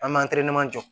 An m'an jɔ